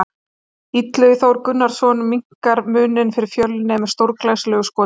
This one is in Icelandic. Illugi Þór Gunnarsson minnkar muninn fyrir Fjölni með stórglæsilegu skoti!